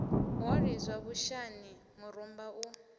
wa lidzwa vhushani murumba u